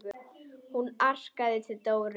Hún arkaði til Dóru.